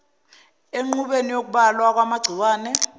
enqubweni yokubulawa kwamagciwane